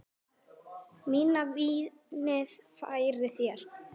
Mæna vínið færir þér.